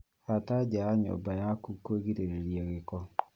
Hata nja ya nyũmba yaku kwĩgirĩria gĩko